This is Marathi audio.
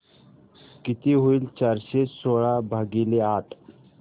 किती होईल चारशे सोळा भागीले आठ